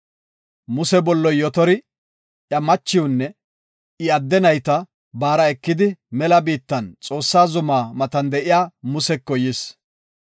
Muse bolloy Yotori, iya machiwunne I adde nayta baara ekidi, mela biittan, Xoossaa zumaa matan de7iya Museko yis.